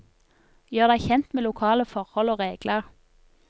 Gjør deg kjent med lokale forhold og regler.